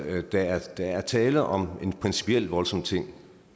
at der er der er tale om en principielt voldsom ting